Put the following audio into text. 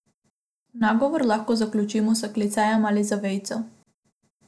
Nagovor lahko zaključimo s klicajem ali z vejico.